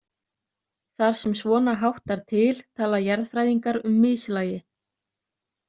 Þar sem svona háttar til tala jarðfræðingar um mislægi.